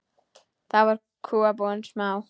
Þá voru kúabúin smá.